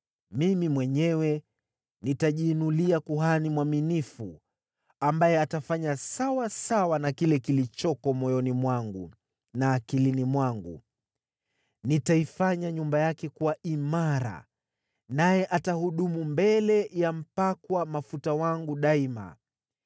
Mimi mwenyewe nitajiinulia kuhani mwaminifu, ambaye atafanya sawasawa na kile kilichoko moyoni mwangu na akilini mwangu. Nitaifanya nyumba yake kuwa imara, naye atahudumu mbele ya mpakwa mafuta wangu daima.